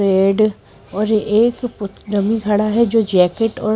red और एक पुत डमी घड़ा है जो जैकेट और--